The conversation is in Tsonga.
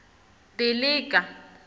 dilika